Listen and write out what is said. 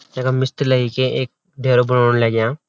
यखम मिस्त्री लयी के एक डेरा बणोन लग्याँ।